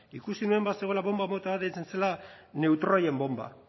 ikusi nuen bazegoela bonba bat deitzen zela neutroien bonba